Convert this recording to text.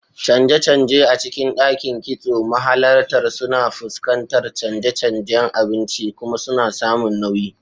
Canje-canje a cikin Dakin Kitso: Mahalarta suna fuskantar canje-canjen abinci kuma suna samun nauyi.